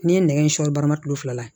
N'i ye nɛgɛ in sɔri baara kilo fila la